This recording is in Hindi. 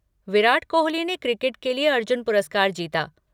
विराट कोहली ने क्रिकेट के लिए अर्जुन पुरस्कार जीता।